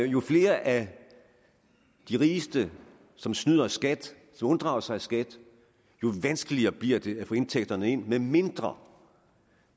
jo flere af de rigeste som snyder i skat som unddrager sig skat jo vanskeligere bliver det at få indtægterne ind medmindre